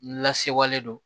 N lasewalen don